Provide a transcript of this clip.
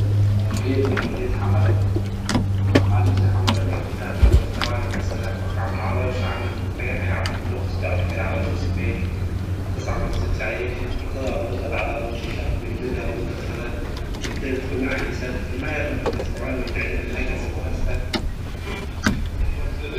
geedkan waa xamar waxa loisticmala calol xanunka intu qasto cabi kara calosha sifeyni cuntata lagu darsada ama pilipiliga lagu darsada cuntata lagu macanesta ilmaha yar dhananka jecelyihin